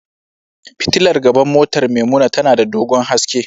Fitilar gaban motar Maimuna tana da dogon haske.